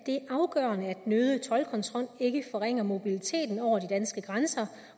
den øgede toldkontrol ikke forringer mobiliteten over de danske grænser